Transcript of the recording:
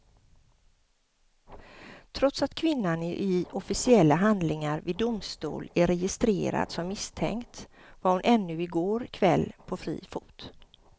Trots att kvinnan i officiella handlingar vid domstol är registrerad som misstänkt var hon ännu i går kväll på fri fot.